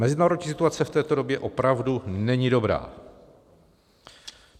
Mezinárodní situace v této době opravdu není dobrá.